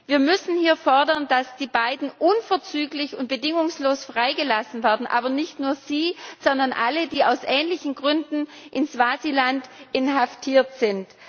Wir müssen fordern, dass die beiden Männer unverzüglich und bedingungslos freigelassen werden aber nicht nur sie, sondern alle, die aus ähnlichen Gründen in Swasiland inhaftiert sind.